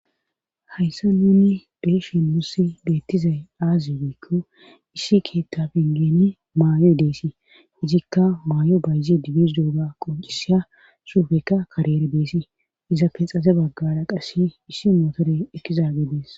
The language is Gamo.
hayssa nuni beeshin musi beettizay aaziikko issi keetta pingeni maayo i deesii ijikka maayo bayyi dibis dooga qoncisiya suufekka karere beesi iza pexaze baggara qassi issi mootore ekkizaage dees